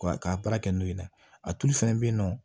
Ka baara kɛ n'o ye a tulu fɛnɛ be yen nɔ